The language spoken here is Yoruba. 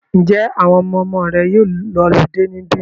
Ǹjẹ́ àwọn ọmọmọ rẹ yóò lọludé níbí?